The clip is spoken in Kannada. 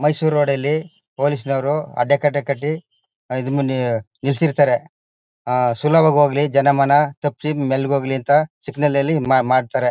ಮೈಸೂರು ರೋಡ್ ಲ್ಲಿ ಪೊಲೀಸ್ ನೋರು ಅದೇ ಕಡೆ ಕಟ್ಟಿ ಇದ್ರ ಮುಂದೆ ನಿಲ್ಲಿಸಿರ್ತಾರೆ ಆ ಸುಲಭವಾಗಿ ಹೋಗ್ಲಿ ಜನ ಮನ ತಪ್ಸಿ ಮೆಲ್ಲಗೆ ಹೋಗ್ಲಿ ಅಂತ ಸಿಗ್ನಲ್ ನಲ್ಲಿ ಮಾ ಮಾಡ್ತಾರೆ.